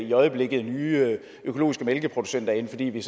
i øjeblikket nye økologiske mælkeproducenter ind fordi vi